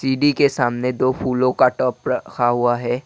सीढ़ी के सामने दो फूलों का टप रखा हुआ है।